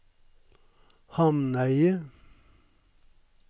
Hamneidet